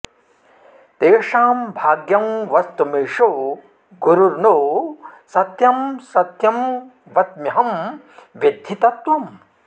तेषां भाग्यं वस्तुमीशो गुरुर्नो सत्यं सत्यं वच्म्यंह विद्धि तत्त्वम्